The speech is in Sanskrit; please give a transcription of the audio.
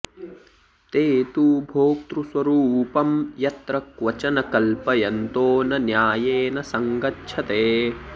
ते तु भोक्तृस्वरूपं यत्र क्वचन कल्पयन्तो न न्यायेन सङ्गच्छते